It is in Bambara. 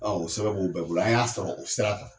Ɔ o sɛbɛn b'u bɛɛ bolo an y'a sɔrɔ o sira fɛ